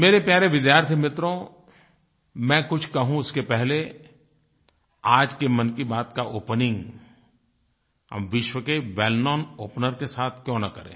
मेरे प्यारे विद्यार्थी मित्रो मैं कुछ कहूँ उसके पहले आज की मन की बात का ओपनिंग हम विश्व के वेल्कनाउन ओपनर के साथ क्यूँ न करें